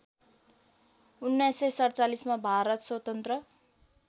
१९४७ मा भारत स्वतन्त्र